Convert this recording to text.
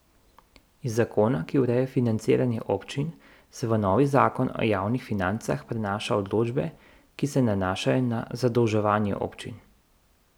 Iz zakona, ki ureja financiranje občin, se v novi zakon o javnih financah prenaša določbe, ki se nanašajo na zadolževanje občin.